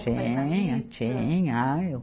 Tinha, tinha. Ah, eu